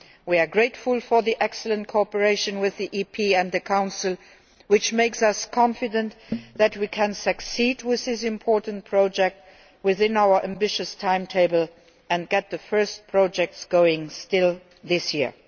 We are grateful for the excellent cooperation with Parliament and the Council, which makes us confident that we can succeed with this important project within our ambitious timetable and get the first projects going this year.